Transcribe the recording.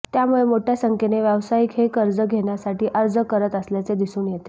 त्यामुळे मोठ्या संख्येने व्यावसायिक हे कर्ज घेण्यासाठी अर्ज करत असल्याचे दिसून येते